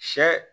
Sɛ